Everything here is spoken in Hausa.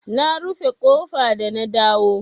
Na rufe ƙofa da na dawo.